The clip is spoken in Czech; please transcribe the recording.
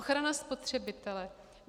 Ochrana spotřebitele.